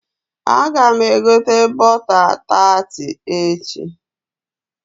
Aga m egota bọta taati echi.